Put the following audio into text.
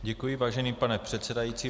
Děkuji, vážený pane předsedající.